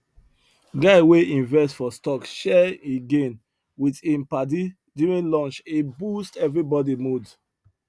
guy wey invest for stock share him gain with him padi during lunch e boost everybody mood